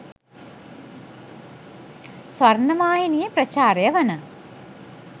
ස්වර්ණවාහිනියෙ ප්‍රචාරය වන